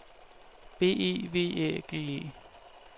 B E V Æ G E